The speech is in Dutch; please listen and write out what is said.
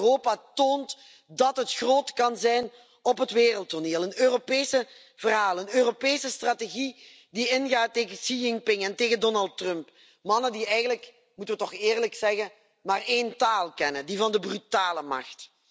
We willen dat Europa toont dat het groot kan zijn op het wereldtoneel een Europees verhaal, een Europese strategie die ingaat tegen Xi Jinping en tegen Donald Trump, mannen die eigenlijk moeten we toch eerlijk zeggen maar één taal kennen, die van de brute macht.